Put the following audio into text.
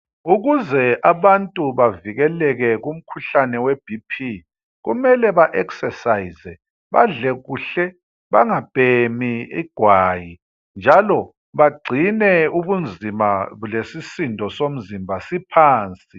Ukuze abantu bevikeleke umkhuhlane weBp kumele ba"Exercise" badle kuhle, bangabhemi igwayi njalo bagcine ubunzima lesisindo somzimba siphansi.